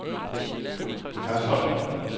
Hørsholm